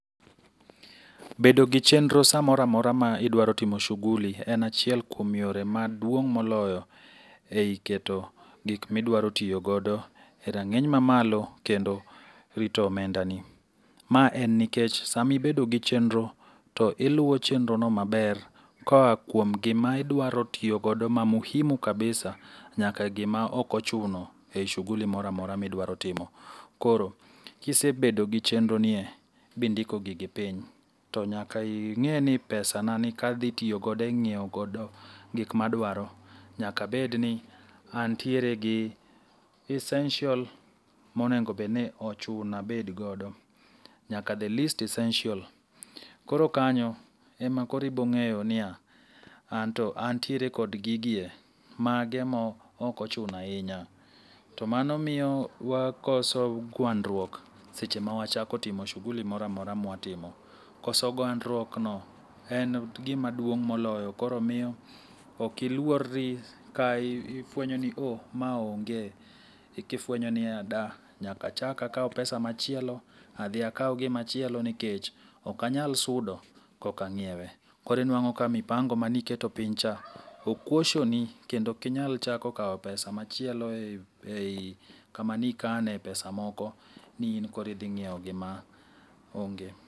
Bedo gi chenro samoro amora ma idwaro timo shughuli en achiel kuom yore maduong' moloyo e i keto gik midwaro tiyo godo e rang'iny mamalo kendo rito omendani. Ma en nikech sama ibedo gi chenro, to iluwo chenrono maber koa kuom gima idwaro tiyogodo ma muhimu kabisa nyaka gima ok ochuno e i shughuli moro amora midwaro timo. Koro, kisebedo gi chenroni e, bindiko gigi piny, to nyaka ing'e ni pesanani kadhitiyogodo e nyieogodo gik madwaro. Nyaka abed ni antiere gi essential monego abedgodo, nyaka the least essential. Koro kanyo ema koro ibong'eyo niya, anto antiere kod gigi e. Mage ma ok ochuno ahinya. To mano miyo wakoso gwandruok seche mawachako timo shughuli moroamora mwatimo. Koso gwandruokno en gima duong' moloyo koro miyo ok iluorri ka ifwenyo ni oh, ma onge, eka ifwenyo ni da, nyaka chak akaw pesa machielo adhi akaw gimachielo nikech ok anyal sudo kok ang'iewe. Koro inwang'o ka mipango maniketo piny cha o koshoni kendo ok inyal chako kawo pesa machielo e i kama nikane pesa moko ni in koro idhing'ieo gima onge.